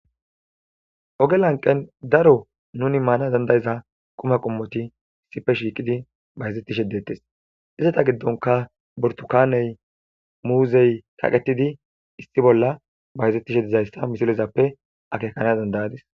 ogelanqen daro nuni maana dandayiza quma qommoti issife shiiqidi bahizettishe detes izata giddonka burtukaaney muuzey kaqetidi issi bolla bayizettishe dizayssa misilezappe akekana dandayadis